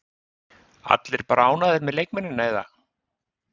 Allir bara ánægðir með leikmennina eða?